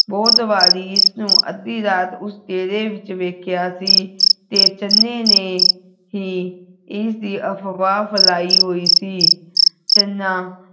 ਬਹੁਤ ਵਾਰੀ ਇਸ ਨੂੰ ਅੱਧੀ ਰਾਤ ਉਸ ਡੇਰੇ ਵਿਚ ਵੇਖਿਆ ਸੀ ਤੇ ਚੰਨੇ ਨੇ ਹੀ ਇਸਦੀ ਅਫਵਾਹ ਫੈਲਾਈ ਹੋਈ ਸੀ ਚੰਨਾ